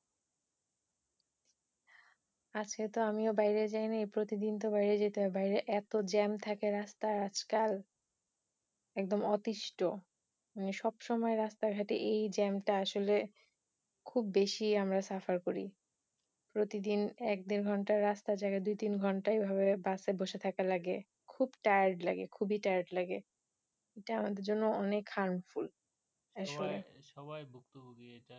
সবাই ভুক্তভুগি এটার